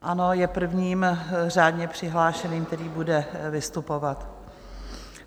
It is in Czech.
Ano, je prvním řádně přihlášeným, který bude vystupovat.